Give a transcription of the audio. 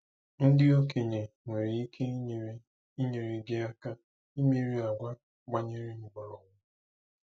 Ndị okenye nwere ike inyere inyere gị aka imeri àgwà gbanyere mkpọrọgwụ.